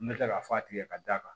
N bɛ tila ka f'a tigɛ ka d'a kan